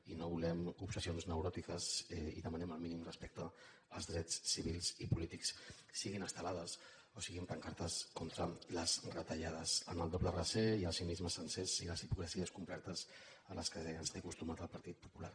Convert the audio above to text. i no volem obsessions neuròtiques i demanem el mínim respecte als drets civils i polítics siguin estelades o siguin pancartes contra les retallades amb el doble raser i el cinismes sencers i les hipocresies complertes a les que ens té acostumats el partit popular